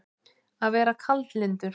Að vera kaldlyndur